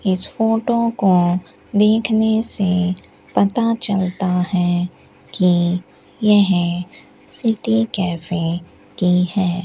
इस फोटो को देखने से पता चलता है कि यह सिटी कैफे की है।